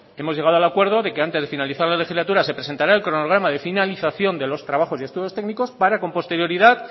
hemos llegado al acuerdo de que antes de finalizar la legislatura se presentará el cronograma de finalización de los trabajos y estudios técnicos para con posterioridad